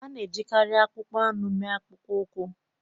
A na-ejikarị akpụkpọ anụ mee akpụkpọ ụkwụ.